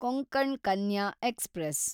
Konkan Kanya express